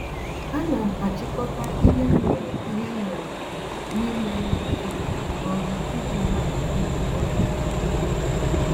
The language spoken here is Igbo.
Ánám achikota ihe m nwèrè ihe m nwèrè ime n'ụtụtụ na ọrụ iji hapụ igbu oge